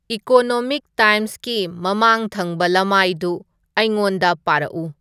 economic ꯇꯥꯏꯝꯁꯒꯤ ꯃꯃꯥꯡ ꯊꯪꯕ ꯂꯃꯥꯏꯗꯨ ꯑꯩꯉꯣꯟꯗ ꯄꯥꯔꯛꯎ